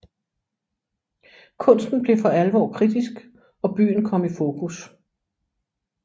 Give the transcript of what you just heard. Kunsten blev for alvor kritisk og byen kom i fokus